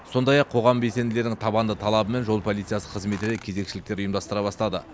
сондай ақ қоғам белсенділерінің табанды талабымен жол полициясы қызметі де кезекшіліктер ұйымдастыра бастады